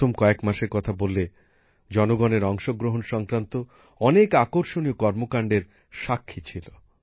প্রথম কয়েক মাসের কথা বললে জনগণের অংশগ্রহণ সংক্রান্ত অনেক আকর্ষণীয় কর্মকাণ্ডের সাক্ষী ছিল